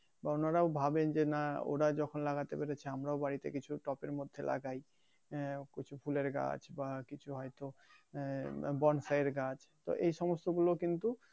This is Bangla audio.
বা ওনারাও ভাবেন যে নাহ ওরা যখন লাগাতেন পেরেছে আমরাও বাড়িতে কিছু টপের মধ্যে লাগাই এহ কিছু ফুলের গাছ বা কিছু হয়তো এহ বনসাই এর গাছ তো এই সমস্ত গুলো কিন্তু